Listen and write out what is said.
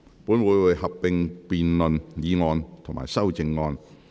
本會會合併辯論議案及修正案。